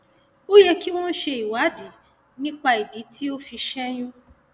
ó yẹ kí wọn ṣe ìwádìí nípa ìdí tí o fi ṣẹyún